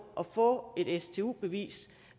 at få et stu bevis